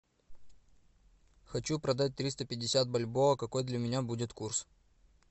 хочу продать триста пятьдесят бальбоа какой для меня будет курс